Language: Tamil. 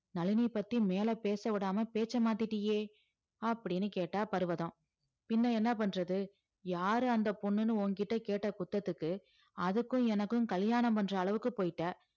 நளினி பத்தி மேல பேச விடாம பேச்ச மாத்திட்டியே அப்படீன்னு கேட்டா பர்வதம் பின்ன என்ன பண்றது யாரு அந்த பொண்ணுன்னு ஓங்கிட்ட கேட்ட குத்தத்துக்கு அதுக்கும் எனக்கும் கல்யாணம் பண்ற அளவுக்கு போயிட்ட